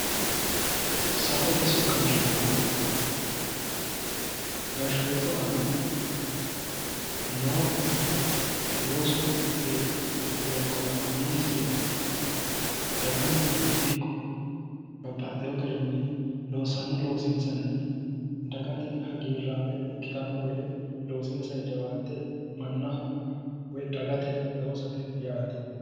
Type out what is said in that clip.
Safote soqqansho yaa gashootu aana noo loosu beeqqo la'annonsari dagansara ikko babbaxxewo garinni loosanno loosinsanni dagate hagiirrame ikkitanno gede loosinsanni jawaatte mannaho woyi dagate loosate yaate